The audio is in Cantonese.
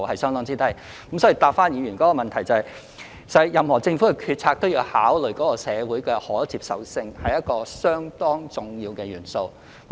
所以，讓我答覆議員的補充質詢，任何政府的決策都要考慮社會的可接受性，這是一個相當重要的元素。